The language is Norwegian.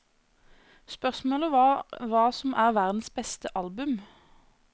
Spørsmålet var hva som er verdens beste album.